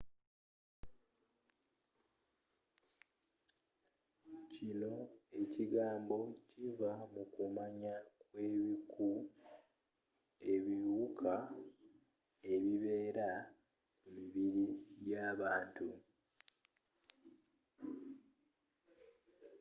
kino ekigambo kiva mu kumanya kw'ebiku ebiwuka ebibeera ku mibiri gy'abantu